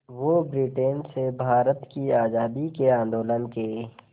वो ब्रिटेन से भारत की आज़ादी के आंदोलन के